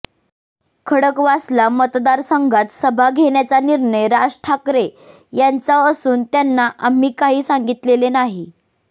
खडकवासला मतदारसंघात सभा घेण्याचा निर्णय राज ठाकरे यांचा असून त्यांना आम्ही काही सांगितलेले नाही